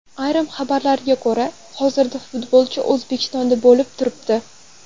Ayrim xabarlarga ko‘ra, hozirda futbolchi O‘zbekistonda bo‘lib turibdi.